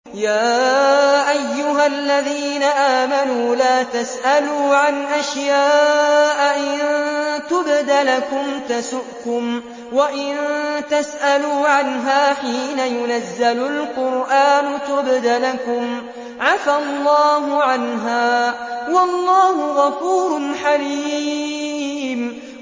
يَا أَيُّهَا الَّذِينَ آمَنُوا لَا تَسْأَلُوا عَنْ أَشْيَاءَ إِن تُبْدَ لَكُمْ تَسُؤْكُمْ وَإِن تَسْأَلُوا عَنْهَا حِينَ يُنَزَّلُ الْقُرْآنُ تُبْدَ لَكُمْ عَفَا اللَّهُ عَنْهَا ۗ وَاللَّهُ غَفُورٌ حَلِيمٌ